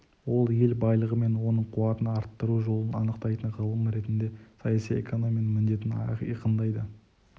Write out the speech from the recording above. ол ел байлығы мен оның қуатын арттыру жолын анықтайтын ғылым ретінде саяси экономияның міндетін айқындады